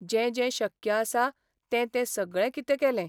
जें जें शक्य आसा तें तें सगळें कितें केलें.